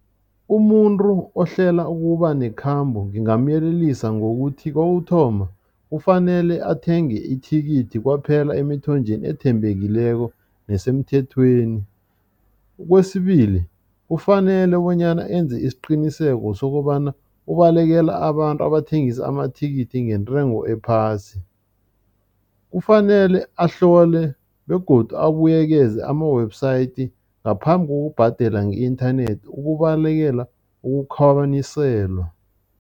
Umuntu ohlela ukuba nekhambo ngingamyelelisa ngokuthi kokuthoma, kufanele athenge ithikithi kwaphela emithonjeni ethembekileko nesemthethweni. Kwesibili, kufanele bonyana enze isiqiniseko sokobana ubalekela abantu abathengisa amathikithi ngentengo ephasi. Kufanele ahlole begodu abuyekezeka ama-website ngaphambi kokubhadela nge-inthanethi ukubalekela ukukhwabaniselwa.